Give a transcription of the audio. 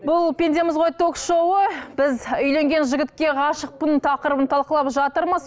бұл пендеміз ғой ток шоуы біз үйленген жігітке ғашықпын тақырыбын талқылап жатырмыз